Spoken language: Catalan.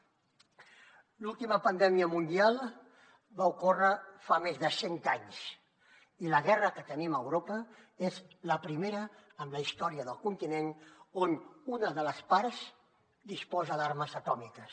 l’última pandèmia mundial va ocórrer fa més de cent anys i la guerra que tenim a europa és la primera en la història del continent on una de les parts disposa d’armes atòmiques